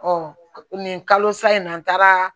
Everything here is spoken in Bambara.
nin kalo sa in na n taara